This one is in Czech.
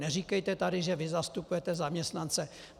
Neříkejte tady, že vy zastupujete zaměstnance!